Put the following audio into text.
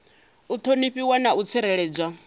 u ṱhonifhiwa na u tsireledzwa